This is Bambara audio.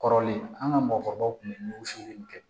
Kɔrɔlen an ka mɔgɔkɔrɔbaw tun bɛ wusuli in kɛ